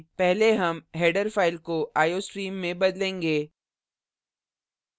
पहले हम header file को iostream में बदलेंगे